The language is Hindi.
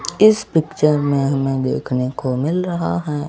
इस पिक्चर में हमें देखने को मिल रहा है।